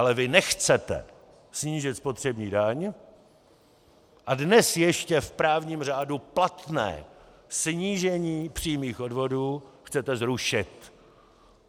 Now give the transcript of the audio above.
Ale vy nechcete snížit spotřební daň a dnes ještě v právním řádu platné snížení přímých odvodů chcete zrušit.